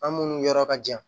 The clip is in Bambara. An munnu yɔrɔ ka jan